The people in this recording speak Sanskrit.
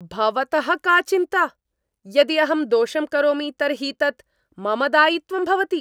भवतः का चिन्ता? यदि अहं दोषं करोमि तर्हि तत् मम दायित्वं भवति।